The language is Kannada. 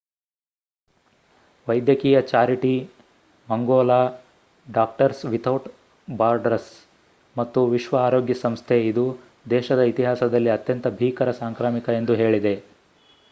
ವೈದ್ಯಕೀಯ ಚಾರಿಟಿ ಮಂಗೋಲಾ ಡಾಕ್ಟರ್ಸ್ ವಿಥೌಟ್ ಬಾರ್ಡರ್ಸ್ ಮತ್ತು ವಿಶ್ವ ಆರೋಗ್ಯ ಸಂಸ್ಥೆ ಇದು ದೇಶದ ಇತಿಹಾಸದಲ್ಲಿ ಅತ್ಯಂತ ಭೀಕರ ಸಾಂಕ್ರಾಮಿಕ ಎಂದು ಹೇಳಿದೆ